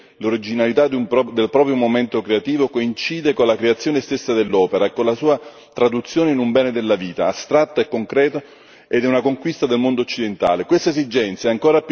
Il poter custodire l'originalità del proprio momento creativo coincide con la creazione stessa dell'opera e con la sua traduzione in un bene della vita, astratta e concreta, ed è una conquista del mondo occidentale.